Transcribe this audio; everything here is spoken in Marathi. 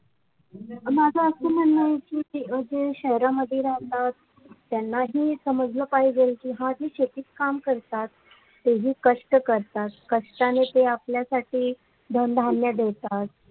पण माझं असं म्हणन कि हे जे शहरामध्ये राहतात त्यांनाही समजल पाहिजे की आज ही शेतीत काम करतात तेही कष्ट करतात कष्टाने आपल्यासाठी धनधान्य देतात